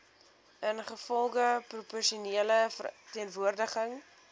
ingevolge proporsionele verteenwoordiging